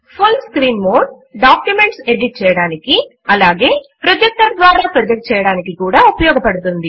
full screen mode documents edit చేయడానికి అలాగే projector ద్వారా ప్రొజెక్ట్ చేయడానికీ కూడా ఉపయోగపడుతుంది